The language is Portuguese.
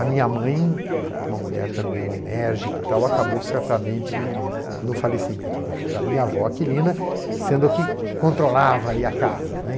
A minha mãe, uma mulher também enérgica e tal, acabou certamente no falecimento da da minha avó, Aquilina, sendo a que controlava ali a casa.